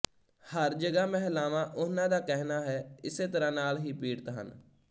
ਹਰ ਜਗ੍ਹਾ ਮਹਿਲਾਵਾਂ ਉਹਨਾਂ ਦਾ ਕਹਿਣਾ ਹੈ ਇਸੇ ਤਰ੍ਹਾਂ ਨਾਲ ਹੀ ਪੀੜਿਤ ਹਨ